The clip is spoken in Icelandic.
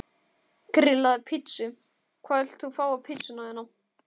Grillaði pizzu Hvað vilt þú fá á pizzuna þína?